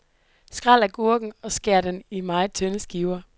Skræl agurken og skær den i meget tynde skiver.